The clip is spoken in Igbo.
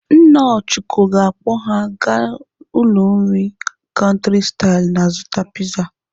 Nna Ọchụko ga-akpọ ha aga ụlọ nri Country style azụta piza.